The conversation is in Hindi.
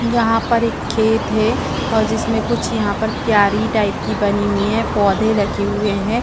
यहाँ पर एक खेत है और जिसमें कुछ यहाँ पर कीयारी टाइप की बनी हुई है पौधे लगे हुए हैं।